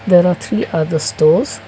there are three other stores.